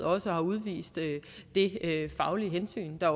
også har udvist det faglige hensyn der